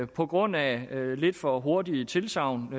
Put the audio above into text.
på grund af lidt for hurtige tilsagn